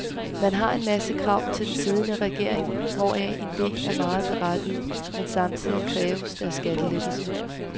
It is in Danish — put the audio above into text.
Man har en masse krav til den siddende regering, hvoraf en del er meget berettigede, men samtidig kræves der skattelettelser.